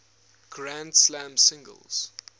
grand slam singles